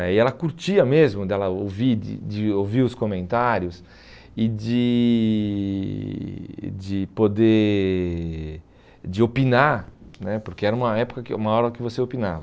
daí ela curtia mesmo de ela ouvir de de ouvir os comentários e de de poder de opinar né, porque era uma época, uma hora que você opinava.